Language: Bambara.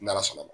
N'ala sɔnna